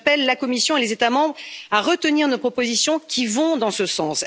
J'invite la Commission et les États membres à retenir nos propositions qui vont dans ce sens.